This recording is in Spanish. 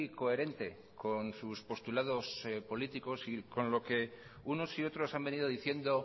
coherente con sus postulados políticos y con lo que unos y otros han venido diciendo